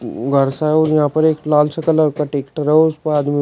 घर सा है और यहां पर एक लाल से कलर का टेक्टर है और उस पर आदमी--